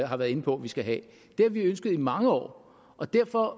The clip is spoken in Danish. har været inde på at vi skal have det har vi ønsket i mange år og derfor